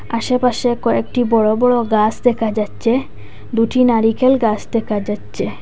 আশেপাশে কয়েকটি বড় বড় গাস দেখা যাচ্চে দুটি নারিকেল গাস দেখা যাচ্চে।